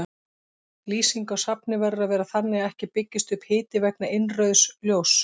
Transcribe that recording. Lýsing á safni verður að vera þannig að ekki byggist upp hiti vegna innrauðs ljóss.